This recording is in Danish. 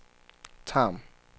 Tarm